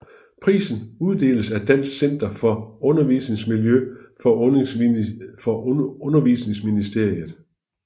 Prisen uddeles af Dansk Center for Undervisningsmiljø for Undervisningsministeriet